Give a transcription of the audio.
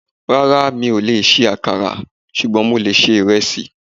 Rárá, mi ò lè ṣe àkàrà, ṣùgbọ́n mo lè ṣe ìrẹsì